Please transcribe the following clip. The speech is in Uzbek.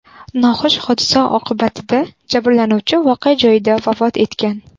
Noxush hodisa oqibatida jabrlanuvchi voqea joyida vafot etgan.